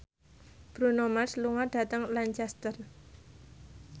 Bruno Mars lunga dhateng Lancaster